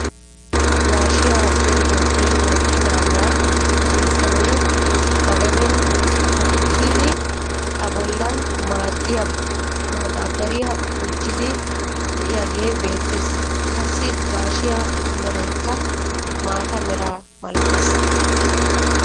Gaashshiyaa zeridogee mokkidagaa issi bitanee ba gaden hokkidi a bollan madabariyaa gujjiidi de'iyaagee beettees. Qassi gaashshiyaa meraykka maata meraa malattees.